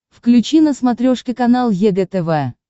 включи на смотрешке канал егэ тв